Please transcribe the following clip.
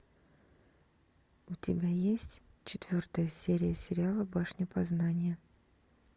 у тебя есть четвертая серия сериала башня познания